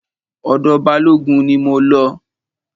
Ọ̀dọ̀ Balógun ni mo lọ.